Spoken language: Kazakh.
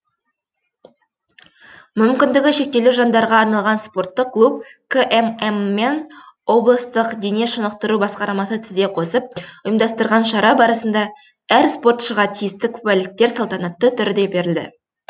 мүмкіндігі шектеулі жандарға арналған спорттық клуб кмм мен облыстық дене шынықтыру басқармасы тізе қосып ұйымдастырған шара барысында әр спортшыға тиісті куәліктер салтанатты түрде берілді